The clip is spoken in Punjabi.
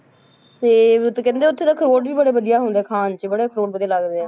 ਤੇ ਉੱਥੇ ਕਹਿੰਦੇ ਉੱਥੇ ਤਾਂ ਅਖਰੋਟ ਵੀ ਬੜੇ ਵਧੀਆ ਹੁੰਦੇ ਆ ਖਾਣ 'ਚ ਅਖਰੋਟ ਬੜੇ ਵਧੀਆ ਲੱਗਦੇ ਆ,